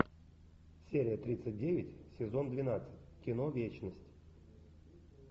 серия тридцать девять сезон двенадцать кино вечность